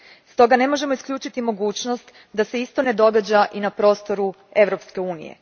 Stoga, ne možemo isključiti mogućnost da se isto ne događa i na prostoru Europske unije.